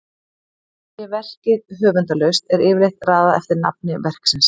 Sé verkið höfundarlaust er yfirleitt raðað eftir nafni verksins.